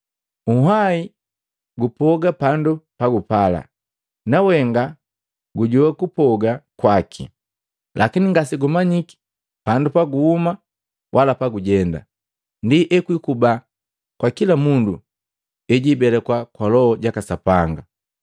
Nhwahi gupoga pandu pagupala, nawenga gujowa kupoga kwaki, lakini ngasegumanyiki pandu paguhuma wala pagujenga. Ndi ekukuba kwa kila mundu ejibelekwa kwa Loho jaka Sapanga.”